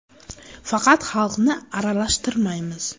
Faqat xalqni aralashtirmaymiz.